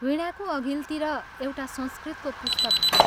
वीणाको अघिल्तिर एउटा संस्कृतको पुस्तक थियो।